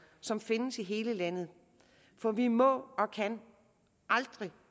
som findes i hele landet for vi må og kan aldrig